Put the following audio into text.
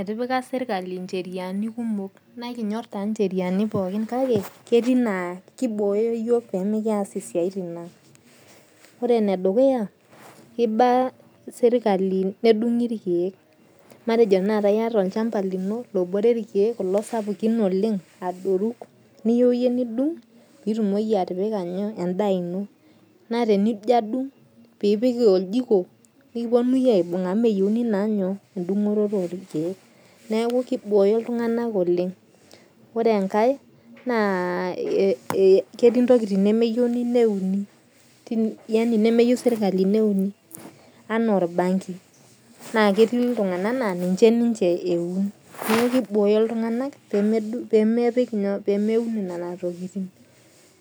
Etipika serikali incheriani kumok naa ikinyorr taa incheriani pookin kake ketii naa kiboyo pemikiyas isiatin ang'. Ore ene dukuya, kiiba serikali nedung'i irkeek. Matejo tena iyat sai olchamba lino lobore irkeek kulo sapukin oleng' adoru niyeu iye nidung pitumoki atipika inyo? edaa ino naa tenijo adung' pipik oljiko, nikiponunui aibung' amuu meyouni naa inyo? Edung'orr oo irkeek .Neeku kiboyo iltung'ana oleng'. Ore enkae naa ketii intokitin nemeyouni neuni. yaani nemeyou serikali neuni enaa orbanki naa keeti iltung'ana laa ninche neun. Neeku kiboyo iltung'ana pemeun nena tokitin.